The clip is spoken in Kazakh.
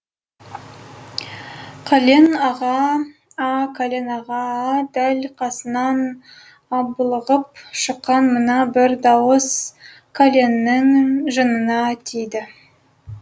кәлен аға аа кәлен аға аа дәл қасынан аблығып шыққан мына бір дауыс кәленнің жынына тиді